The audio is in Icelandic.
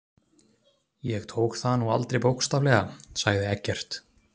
Ég tók það nú aldrei bókstaflega, sagði Eggert.